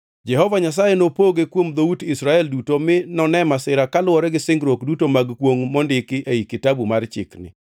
Jehova Nyasaye nopoge kuom dhout Israel duto mi none masira kaluwore gi singruok duto mag kwongʼ mondiki ei Kitabuni mar Chik.